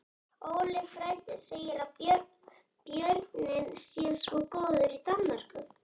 Óli frændi segir að bjórinn sé svo góður í Danmörku